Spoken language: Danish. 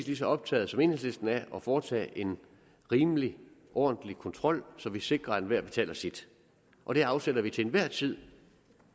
lige så optaget som enhedslisten af at foretage en rimelig og ordentlig kontrol så vi sikrer at enhver betaler sit og det afsætter vi til enhver tid